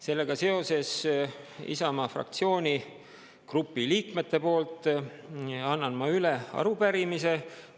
Sellega seoses Isamaa fraktsiooni grupi liikmete poolt annan ma üle arupärimise.